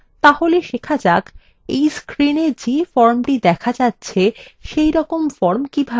তাহলে শেখা যাক এই screen যে form the দেখা যাচ্ছে সেইরকম form কিভাবে তৈরী করা যায়